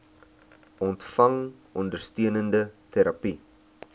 ontvang ondersteunende terapie